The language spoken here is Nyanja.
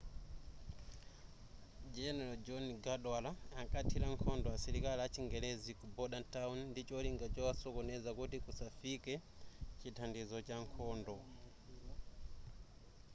general john cadwalder ankathila nkhondo asilikali achingelezi ku bordentown ndi cholinga chowasokoneza kuti kusafikae chithandizo cha nkhondo